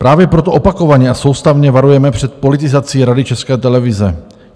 Právě proto opakovaně a soustavně varujeme před politizací Rady České televize.